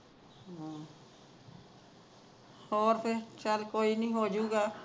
ਹੋਰ ਫਿਰ ਚੱਲ ਫਿਰ ਹੋ ਜੁਗਾ